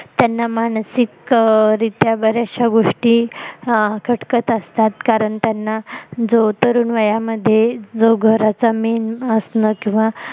त्यांना मानसिक रित्या बऱ्याचश्या गोष्टी खटकत असतात कारण त्यांना जो तरुण वयामध्ये जो घराचा main असण किंवा